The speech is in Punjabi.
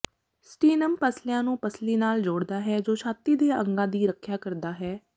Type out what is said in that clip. ਸਟੀਨਮ ਪੱਸਲੀਆਂ ਨੂੰ ਪੱਸਲੀ ਨਾਲ ਜੋੜਦਾ ਹੈ ਜੋ ਛਾਤੀ ਦੇ ਅੰਗਾਂ ਦੀ ਰੱਖਿਆ ਕਰਦਾ ਹੈ